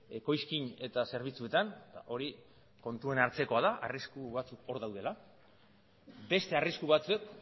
ekoizkin eta zerbitzuetan hori kontuan hartzekoa da arrisku batzuk hor daudela beste arrisku batzuk